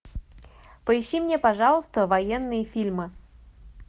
поищи мне пожалуйста военные фильмы